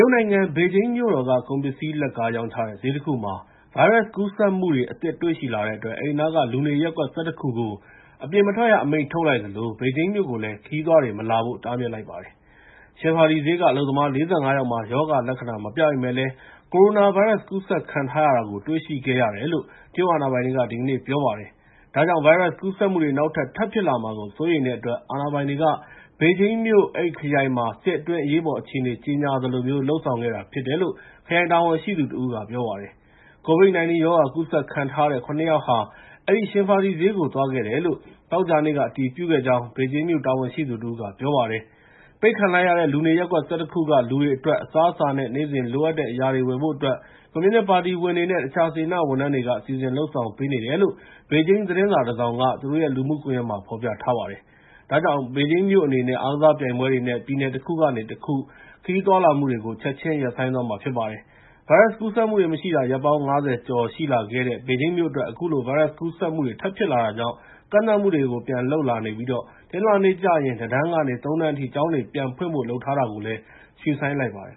ုတ်နိုင်ငံ ဘေဂျင်းမြို့တော်က ကုန်ပစ္စည်း လက်ကားရောင်းချတဲ့ ဈေးတခုမှာ ဗိုင်းရပ်စ်ကူးစက်မှုတွေ အသစ်တွေ့ရှိလာတဲ့အတွက် အဲဒီနားက လူနေရပ်ကွက် ၁၁ ခုကို အပြင်မထွက်ရအမိန့် ထုတ်လိုက်သလို ဘေဂျင်းမြို့ကိုလည်း ခရီးသွားတွေ မလာဖို့ တားမြစ်လိုက်ပါတယ်။ Xinfadi ဈေးက အလုပ်သမား ၄၅ ယောက်မှာ ရောဂါလက္ခဏာ မပြပေမယ့်လည်း ကိုရိုနာဗိုင်းရပ်စ် ကူးစက်ခံထားရတာကို တွေ့ရှိခဲ့ရတယ်လို့ တရုတ်အာဏာပိုင်တွေက ဒီကနေ့ ပြောတာပါ။ ဒါကြောင့် ဗိုင်းရပ်စ်ကူးစက်မှုတွေ နောက်ထပ် ထပ်ဖြစ်လာမှာကို စိုးရိမ်တဲ့အတွက် အာဏာပိုင်တွေက ဘေဂျင်းမြို့ အဲဒီခရိုင်မှာ စစ်အတွင်း အရေးပေါ်အခြေအနေ ကြေညာသလိုမျိုး လုပ်ဆောင်ခဲ့တာဖြစ်တယ်လို့ ခရိုင်တာဝန်ရှိသူတဦးက ပြောပါတယ်။ COVID-19 ရောဂါ ကူးစက်ခံထားရတဲ့ ၇ ယောက်ဟာ အဲဒီ Xinfadi ဈေးကို သွားခဲ့တယ်လို့ သောကြာနေ့က အတည်ပြုခဲ့ကြောင်း ဘေဂျင်းမြို့ တာဝန်ရှိသူတဦးက ပြောပါတယ်။ ပိတ်ခံလိုက်ရတဲ့ လူနေရပ်ကွက် ၁၁ ခုက လူတွေအတွက် အစားအစာနဲ့ နေ့စဉ်လိုအပ်တဲ့ အရာတွေကို ဝယ်ဖို့အတွက် ကွန်မြူနစ်ပါတီဝင်တွေနဲ့ တခြား စေတနာ့ဝန်ထမ်းတွေက စီစဉ်လုပ်ဆောင်ပေးနေတယ်လို့ ဘေဂျင်း သတင်းစာတစောင်က သူတို့ရဲ့ လူမှုကွန်ရက်မှာ ဖော်ပြထားပါတယ်။ ဒါကြောင့် ဘေဂျင်းမြို့အနေနဲ့ အားကစားပြိုင်ပွဲတွေနဲ့ ပြည်နယ်တခုကနေတခု ခရီးသွားလာမှုတွေကို ချက်ချင်းရပ်ဆိုင်းသွားမှာ ဖြစ်ပါတယ်။ ဗိုင်းရပ်စ်ကူးစက်မှုတွေ မရှိတာ ရက်ပေါင်း ၅၀ ကျော် ရှိလာခဲ့တဲ့ ဘေဂျင်းမြို့အတွက် အခုလို ဗိုင်းရပ်စ်ကူးစက်မှုတွေ ထပ်ဖြစ်လာတာကြောင့် ကန့်သတ်မှုတွေကို ပြန်လုပ်လာနေပြီး တနင်္လာနေ့ကျရင် ၁ တန်းကနေ ၃ တန်းအထိ ကျောင်းတွေ ပြန်ဖွင့်ဖို့ လုပ်ထားတာကိုလည်း ရွှေ့ဆိုင်းလိုက်ပါတယ်